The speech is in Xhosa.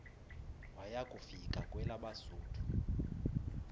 waya kufika kwelabesuthu